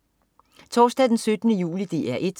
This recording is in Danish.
Torsdag den 17. juli - DR 1: